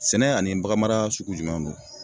Sɛnɛ ani baganmara sugu jumɛn don?